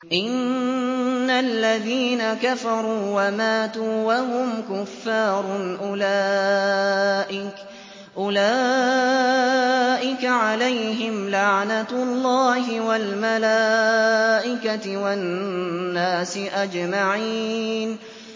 إِنَّ الَّذِينَ كَفَرُوا وَمَاتُوا وَهُمْ كُفَّارٌ أُولَٰئِكَ عَلَيْهِمْ لَعْنَةُ اللَّهِ وَالْمَلَائِكَةِ وَالنَّاسِ أَجْمَعِينَ